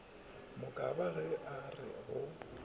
mokaba ge a re go